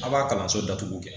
A b'a kalanso datugu kɛ